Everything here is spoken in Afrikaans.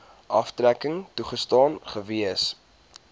aftrekking toegestaan gewees